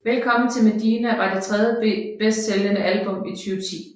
Velkommen til Medina var det tredje bedst sælgende album i 2010